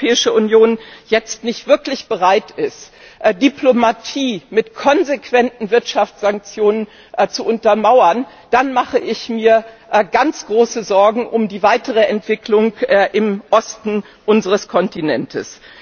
Wenn die Europäische Union jetzt nicht wirklich bereit ist, Diplomatie mit konsequenten Wirtschaftssanktionen zu untermauern, dann mache ich mir ganz große Sorgen um die weitere Entwicklung im Osten unseres Kontinents.